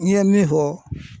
N ye min fɔ